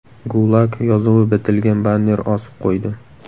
GULAG” yozuvi bitilgan banner osib qo‘ydi.